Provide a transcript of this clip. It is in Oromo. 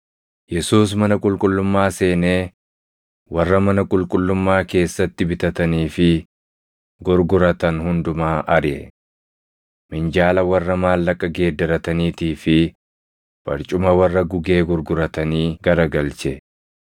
Yesuus mana qulqullummaa seenee warra mana qulqullummaa keessatti bitatanii fi gurguratan hundumaa ariʼe. Minjaala warra maallaqa geeddarataniitii fi barcuma warra gugee gurguratanii garagalche.